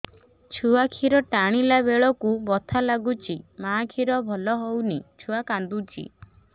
ଛୁଆ ଖିର ଟାଣିଲା ବେଳକୁ ବଥା ଲାଗୁଚି ମା ଖିର ଭଲ ହଉନି ଛୁଆ କାନ୍ଦୁଚି